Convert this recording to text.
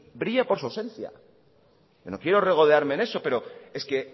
brilla por su ausencia pero no quiero regodearme en eso pero es que